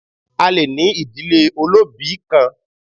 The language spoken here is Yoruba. A le ní ìdílé olóòbí kan